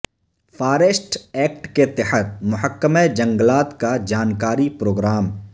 forest act کے تحت محکمہ جنگلات کا جانکاری پروگرام